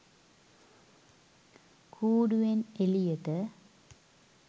කූඩුවෙන් එළියට.